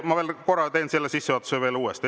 Ma teen korra veel sissejuhatuse uuesti.